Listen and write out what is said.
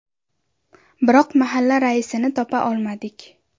Biroq mahalla raisini topa olmadik.